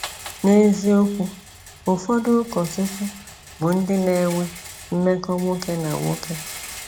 N’eziokwu, ụfọdụ ụkọchukwu bụ ndị n'enwe mmekọ nwoke na nwoke.